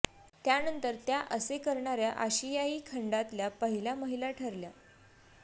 त्यानंतर त्या असे करणाऱ्या आशियायी खंडातल्या पहिल्या महिला ठरल्या